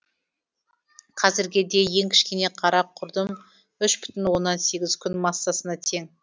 қазірге де ең кішкене қара құрдым үш бүтін оннан сегіз күн массасына тең